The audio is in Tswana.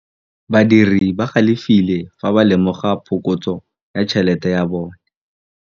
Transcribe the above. Badiri ba galefile fa ba lemoga phokotsô ya tšhelête ya bone.